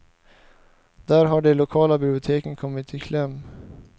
Där har de lokala biblioteken kommit i kläm.